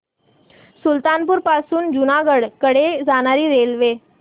सुल्तानपुर पासून जुनागढ कडे जाणारी रेल्वे